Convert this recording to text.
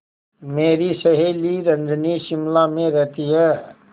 मेरी सहेली रजनी शिमला में रहती है